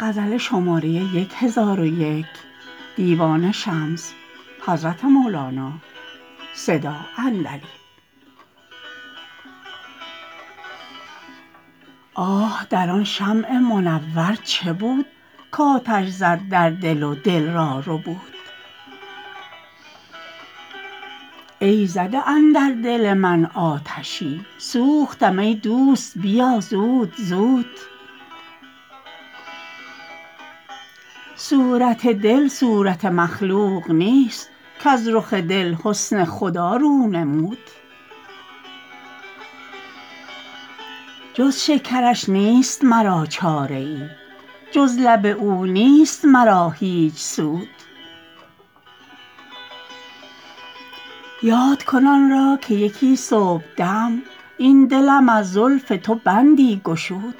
آه در آن شمع منور چه بود کآتش زد در دل و دل را ربود ای زده اندر دل من آتشی سوختم ای دوست بیا زود زود صورت دل صورت مخلوق نیست کز رخ دل حسن خدا رو نمود جز شکرش نیست مرا چاره ای جز لب او نیست مرا هیچ سود یاد کن آن را که یکی صبحدم این دلم از زلف تو بندی گشود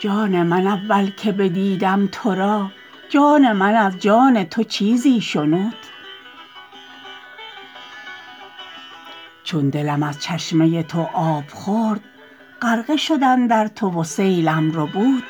جان من اول که بدیدم تو را جان من از جان تو چیزی شنود چون دلم از چشمه تو آب خورد غرقه شد اندر تو و سیلم ربود